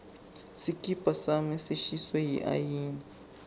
sikipa sami sishiswe yiayina